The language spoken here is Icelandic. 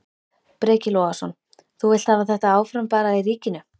Breki Logason: Þú vilt hafa þetta áfram bara í ríkinu?